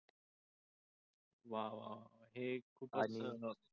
वा वा वा हे खूपच